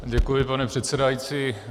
Děkuji, pane předsedající.